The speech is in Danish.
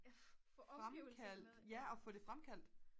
fremkaldt ja og få det fremkaldt